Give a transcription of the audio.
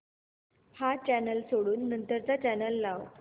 हा चॅनल सोडून नंतर चा चॅनल लाव